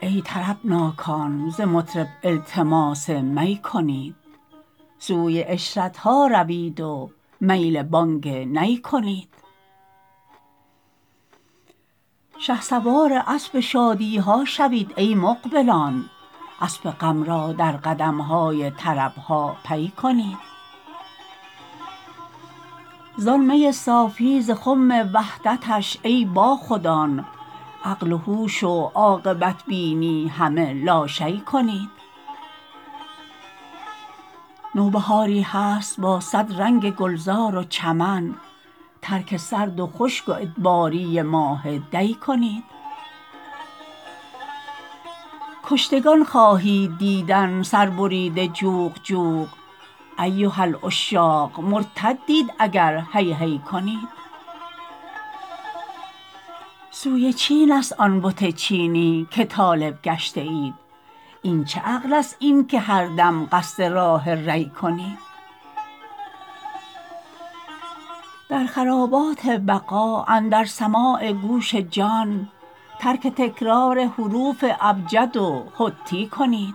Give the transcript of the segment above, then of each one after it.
ای طربناکان ز مطرب التماس می کنید سوی عشرت ها روید و میل بانگ نی کنید شهسوار اسب شادی ها شوید ای مقبلان اسب غم را در قدم های طرب ها پی کنید زان می صافی ز خم وحدتش ای باخودان عقل و هوش و عاقبت بینی همه لاشیء کنید نوبهاری هست با صد رنگ گلزار و چمن ترک سرد و خشک و ادباری ماه دی کنید کشتگان خواهید دیدن سربریده جوق جوق ایها العشاق مرتدید اگر هی هی کنید سوی چینست آن بت چینی که طالب گشته اید این چه عقلست این که هر دم قصد راه ری کنید در خرابات بقا اندر سماع گوش جان ترک تکرار حروف ابجد و حطی کنید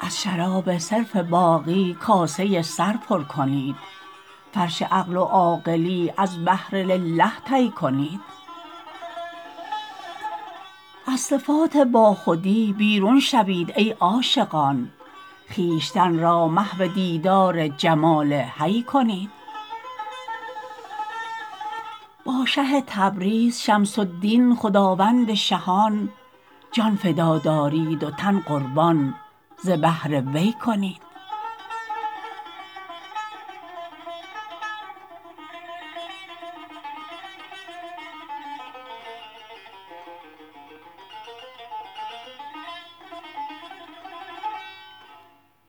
از شراب صرف باقی کاسه سر پر کنید فرش عقل و عاقلی از بهر لله طی کنید از صفات باخودی بیرون شوید ای عاشقان خویشتن را محو دیدار جمال حی کنید با شه تبریز شمس الدین خداوند شهان جان فدا دارید و تن قربان ز بهر وی کنید